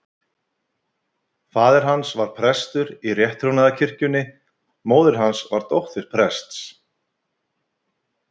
Faðir hans var prestur í rétttrúnaðarkirkjunni, móðir hans var dóttir prests.